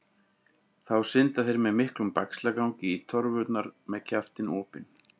Þá synda þeir með miklum bægslagangi í torfurnar með kjaftinn opinn.